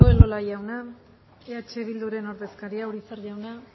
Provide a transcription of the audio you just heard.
eskerrik asko elola jauna eh bilduren ordezkaria urizar jauna